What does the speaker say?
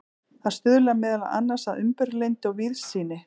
það stuðlar meðal annars að umburðarlyndi og víðsýni